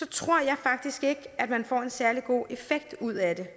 tror jeg faktisk ikke at man får en særlig god effekt ud af det